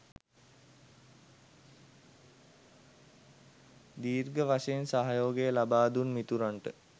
දීර්ඝ වශයෙන් සහයෝගය ලබාදුන් මිතුරන්ට